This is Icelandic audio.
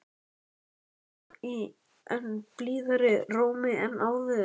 spyr amma í enn blíðari rómi en áður.